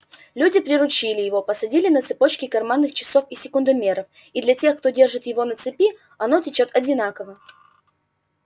люди приручили его посадили на цепочки карманных часов и секундомеров и для тех кто держит его на цепи оно течёт одинаково